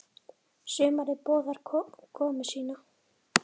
Sumarið boðar komu sína.